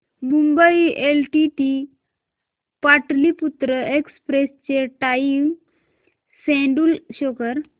Mumbai LTT Pataliputra express चे time schedule show कर